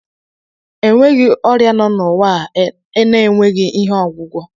Enweghị ọrịa no n'ụwa a enweghị ihe ọgwụgwọ